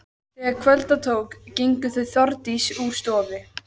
Þegar kvölda tók gengu þau Þórdís úr stofu.